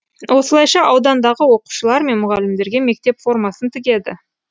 осылайша аудандағы оқушылар мен мұғалімдерге мектеп формасын тігеді